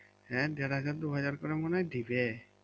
হ্যাঁ দেড় হাজার দু হাজার করে মনে হয় দিবে